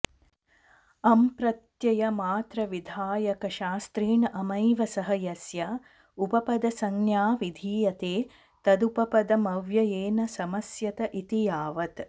अम्प्रत्ययमात्रविधायकशास्त्रेण अमैव सह यस्य उपपदसंज्ञा विधीयते तदुपपदमव्ययेन समस्यत इति यावत्